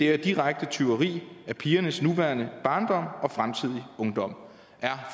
er direkte tyveri af pigernes nuværende barndom og fremtidige ungdom er